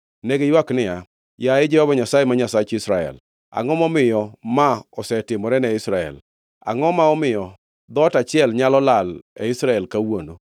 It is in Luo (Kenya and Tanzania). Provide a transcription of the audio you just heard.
Ne giywak niya, “Yaye Jehova Nyasaye, ma Nyasach Israel, angʼo momiyo ma osetimore ne Israel? Angʼo ma omiyo dhoot achiel nyalo lal e Israel kawuono?”